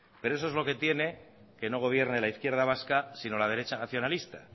pero eso es lo que tiene que no gobierne la izquierda vasca sino la derecha nacionalista